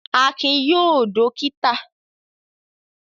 Akin yóò dọ́kítà.